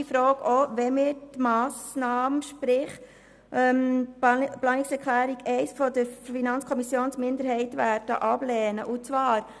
Wir stellen diesen nicht infrage, auch wenn wir die Planungserklärung 1 der Kommissionsminderheit ablehnen und die entsprechende Massnahme befürworten.